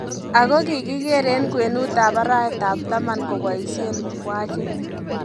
Ago kikiger en kwenut ab arawet ab taman kobaisien mukwachit